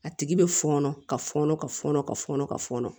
A tigi bɛ fɔnɔ ka fɔnɔ ka fɔnɔ ka fɔnɔ ka fɔnɔ